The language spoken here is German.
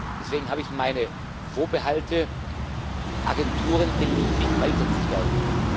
Deswegen habe ich meine Vorbehalte, Agenturen beliebig weiter zu stärken.